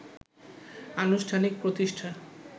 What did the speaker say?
আনুষ্ঠানিক প্রতিষ্ঠা